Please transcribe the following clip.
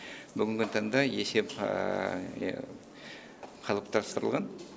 бүгінгі таңда есеп қалыптастырылған